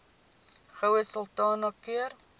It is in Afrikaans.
goue sultana keur